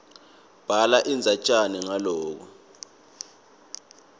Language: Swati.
bhala indzatjana ngaloko